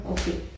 Okay